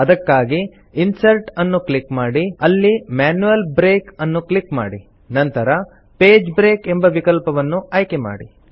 ಅದಕ್ಕಾಗಿ ಇನ್ಸರ್ಟ್ ಅನ್ನು ಕ್ಲಿಕ್ ಮಾಡಿ ಅಲ್ಲಿ ಮ್ಯಾನ್ಯುಯಲ್ ಬ್ರೇಕ್ ಅನ್ನು ಕ್ಲಿಕ್ ಮಾಡಿ ನಂತರ ಪೇಜ್ ಬ್ರೇಕ್ ಎಂಬ ವಿಕಲ್ಪವನ್ನು ಆಯ್ಕೆ ಮಾಡಿ